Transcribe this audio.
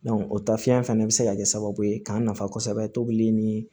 o tafiyɛn fɛnɛ bɛ se ka kɛ sababu ye k'an nafa kosɛbɛ tobili ni